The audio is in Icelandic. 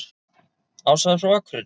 Ása er frá Akureyri.